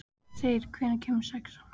Þeyr, hvenær kemur sexan?